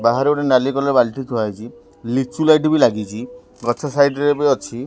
ବାହାରେ ଗୋଟେ ନାଲି କଲର୍ ବାଲ୍ଟି ଥୁଆ ହେଇଛି ଲିଚୁ ଲାଇଟ୍ ବି ଲାଗିଛି ଗଛ ସାଇଟ ରେ ରେ ବି ଅଛି।